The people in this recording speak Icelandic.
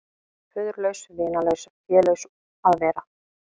Föðurlaus, vinalaus, félaus að vera.